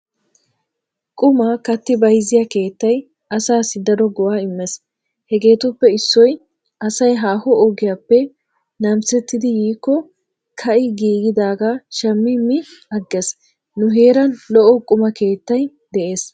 Qumaa katti bayzziyaa keettay asaassi daro go'aa immees hegeetuppe issoy asay haaho ogiyaappe namisettidi yiikko ka'i giigidaaga shammi mi aggees. Nu heeran lo'o quma keettay de'ees.